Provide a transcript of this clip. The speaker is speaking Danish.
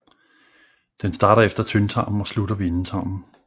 Den starter efter tyndtarmen og slutter ved endetarmen